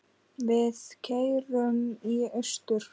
Við keyrum í austur